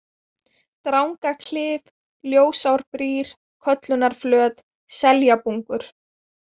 Drangaklif, Ljósárbrýr, Köllunarflöt, Seljabungur